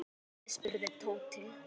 Og hvar er Lúlli? spurði Tóti.